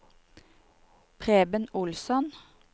Preben Olsson